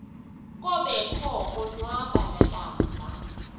kobekho konwaba nakamva